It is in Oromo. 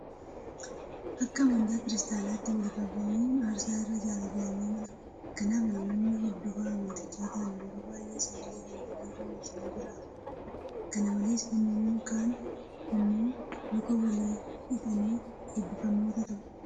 Akka amantaa Kiristaanaatti waliif abboomamuun aarsaa irra caala jedhamee amanama. Kanaaf namoonni hordofaa amantichaa ta'an yeroo baay'ee sagalee kana hojii irra oolchanii jiraatu. Kana malees namoonni kaan immoo luka walii dhiqanii eebbifamoota ta'u.